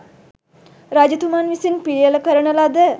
රජතුමන් විසින් පිළියෙළකරන ලද